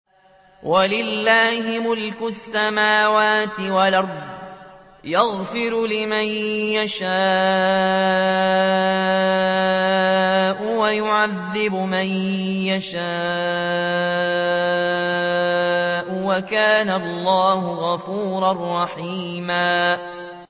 وَلِلَّهِ مُلْكُ السَّمَاوَاتِ وَالْأَرْضِ ۚ يَغْفِرُ لِمَن يَشَاءُ وَيُعَذِّبُ مَن يَشَاءُ ۚ وَكَانَ اللَّهُ غَفُورًا رَّحِيمًا